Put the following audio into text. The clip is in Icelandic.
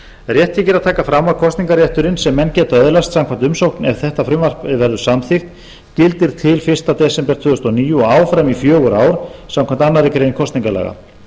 rétt þykir að taka fram að kosningarrétturinn sem menn geta öðlast samkvæmt umsókn ef frumvarp þetta verður samþykkt gildir til fyrsta desember tvö þúsund og níu og áfram í fjögur ár samkvæmt annarri grein kosningalaga